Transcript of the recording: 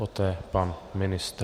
Poté pan ministr.